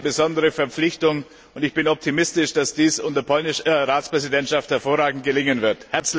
Wir haben hier eine besondere Verpflichtung, und ich bin optimistisch, dass dies unter der polnischen Ratspräsidentschaft hervorragend gelingen wird.